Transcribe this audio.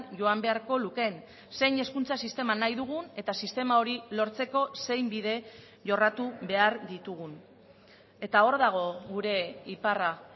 joan beharko lukeen zein hezkuntza sistema nahi dugun eta sistema hori lortzeko zein bide jorratu behar ditugun eta hor dago gure iparra